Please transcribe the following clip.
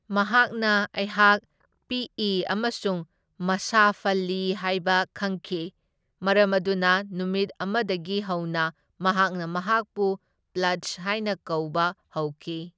ꯃꯍꯥꯛꯅ ꯑꯩꯍꯥꯛ ꯄꯤꯛꯏ ꯑꯃꯁꯨꯡ ꯃꯁꯥꯐꯜꯂꯤ ꯍꯥꯢꯕ ꯈꯪꯈꯤ, ꯃꯔꯝ ꯑꯗꯨꯅ ꯅꯨꯃꯤꯠ ꯑꯃꯗꯒꯤ ꯍꯧꯅ ꯃꯍꯥꯛꯅ ꯑꯩꯍꯥꯛꯄꯨ ꯄꯗ꯭ꯖ ꯍꯥꯢꯅ ꯀꯧꯕ ꯍꯧꯈꯤ꯫